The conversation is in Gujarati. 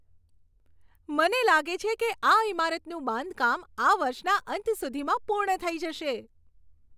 મને લાગે છે કે આ ઈમારતનું બાંધકામ આ વર્ષના અંત સુધીમાં પૂર્ણ થઈ જશે.